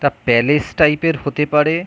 এটা palace type -এর হতে পারে।